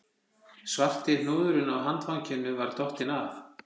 Svarti hnúðurinn á handfanginu var dottinn af